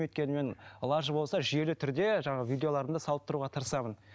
өйткені мен лажы болса жүйелі түрде жаңағы видеоларымды салып тұруға тырысамын